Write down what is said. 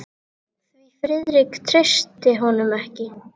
Því Friðrik treysti honum ekki.